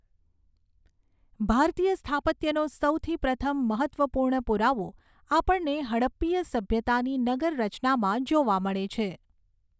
ભારતીય સ્થાપત્યનો સૌથી પ્રથમ મહત્ત્વપૂર્ણ પુરાવો આપણને હડપ્પીય સભ્યતાની નગર રચનામાં જોવા મળે છે.